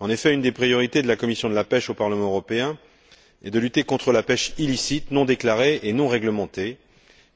En effet, une des priorités de la commission de la pêche au Parlement européen est de lutter contre la pêche illicite, non déclarée et non réglementée